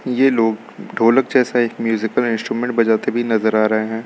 ये लोग ढोलक जैसा एक म्यूजिकल इंस्ट्रूमेंट बजाते भी नजर आ रहे हैं।